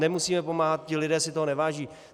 Nemusíme pomáhat, ti lidé si toho neváží.